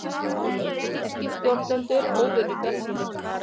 Þýskir stjórnendur óvenju bjartsýnir